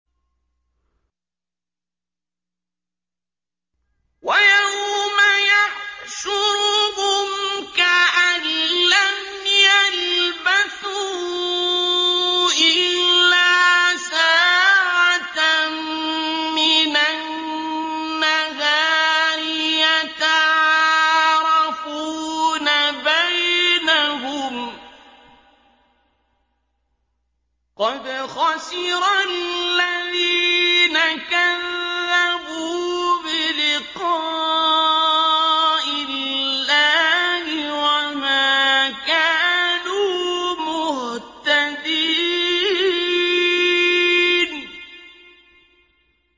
وَيَوْمَ يَحْشُرُهُمْ كَأَن لَّمْ يَلْبَثُوا إِلَّا سَاعَةً مِّنَ النَّهَارِ يَتَعَارَفُونَ بَيْنَهُمْ ۚ قَدْ خَسِرَ الَّذِينَ كَذَّبُوا بِلِقَاءِ اللَّهِ وَمَا كَانُوا مُهْتَدِينَ